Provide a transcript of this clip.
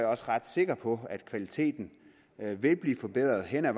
også ret sikker på at kvaliteten vil blive forbedret helt af